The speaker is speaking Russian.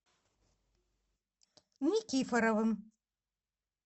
никифоровым